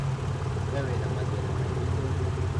We wĩna mathĩna maingĩ kũngĩra